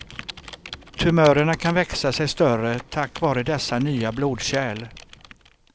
Tumörerna kan växa sig större tack vare dessa nya blodkärl.